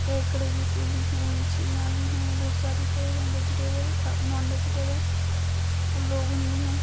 केकड़े जैसे भी है। मछलियां भी है। बोहोत सारे वेजिटेबल अ- नॉन वेजिटेबल लोगन भी हैं।